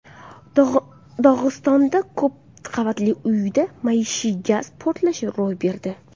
Dog‘istonda ko‘p qavatli uyda maishiy gaz portlashi ro‘y berdi.